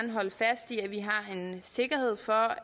sikkerhed for